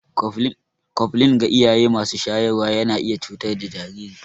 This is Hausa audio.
Koflin ga iyaye masu shayarwa yana iya cutar da jariri.